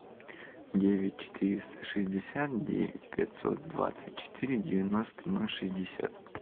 девять четыреста шестьдесят девять пятьсот двадцать четыре девяносто ноль шестьдесят